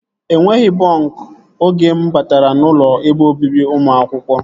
Enweghị bọnk oge mụ batara n'ụlọ ebe obibi ụmụ akwụkwọ